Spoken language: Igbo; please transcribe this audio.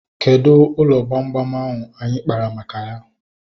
Kedụ ụlọ gbamgbam ahu anyị kpaara maka ya?